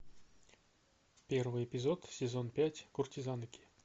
первый эпизод сезон пять куртизанки